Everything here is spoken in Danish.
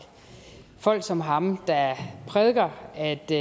folk som ham der prædiker at det